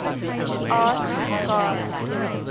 arts gods